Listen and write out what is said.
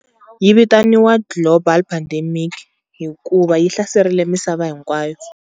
Yi vitaniwa global pandemic hikuva yi hlaserile misava hinkwayo.